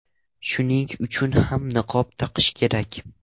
Shuning uchun ham niqob taqish kerak.